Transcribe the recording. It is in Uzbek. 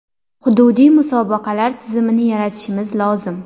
Hududiy musobaqalar tizimini yaratishimiz lozim.